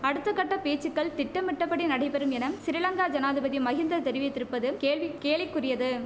அடுத்த கட்ட பேச்சுக்கள் திட்டமிட்டபடி நடைபெறும் எனம் சிறிலங்கா ஜனாதிபதி மகிந்தர் தெரிவித்திருப்பதும் கேள்வி கேலிக்குரியது